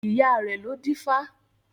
Ìyá rẹ̀ lọ dífá